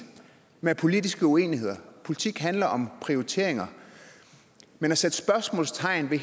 med politiske uenigheder politik handler om prioriteringer men at sætte spørgsmålstegn ved